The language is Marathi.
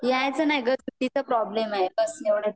यायचं नाही ग, सुट्टी चा प्रॉब्लेम आहे, बस एवढंच